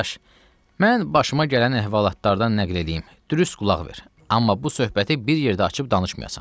Qardaş, mən başıma gələn əhvalatlardan nəql eləyim, dürüst qulaq ver, amma bu söhbəti bir yerdə açıb danışmayasan.